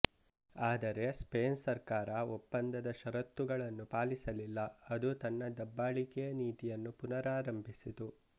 ಆದರೆ ಸ್ಪೇನ್ ಸರ್ಕಾರ ಒಪ್ಪಂದದ ಷರತ್ತುಗಳನ್ನು ಪಾಲಿಸಲಿಲ್ಲ ಅದು ತನ್ನ ದಬ್ಬಾಳಿಕೆ ನೀತಿಯನ್ನು ಪುನರಾರಂಭಿಸಿತು